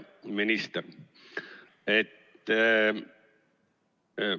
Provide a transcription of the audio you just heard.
Hea minister!